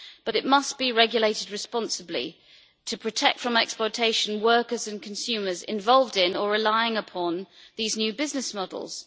But it must be regulated responsibly to protect from exploitation workers and consumers involved in or relying upon these new business models.